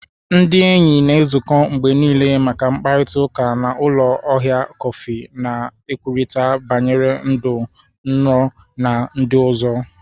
Ndị enyi na-ezukọ mgbe niile maka mkparịta ụka na ụlọ ahịa kọfị, na-ekwurịta banyere ndụ, nrọ, na ndị ọzọ.